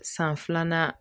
San filanan